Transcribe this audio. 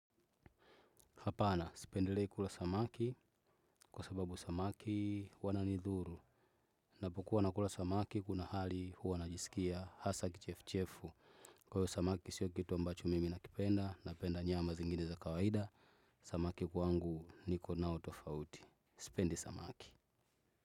Hapana, sipendelei kula samaki, kwa sababu samaki wananidhuru. Napokuwa nakula samaki, kuna hali huwa najisikia hasa kichefuchefu. Kwa hiyo samaki, sio kitu ambacho mimi nakipenda, napenda nyama zingine za kawaida. Samaki kwangu niko nao tofauti. Sipendi samaki.